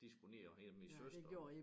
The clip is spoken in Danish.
De skulle ned og hente min søster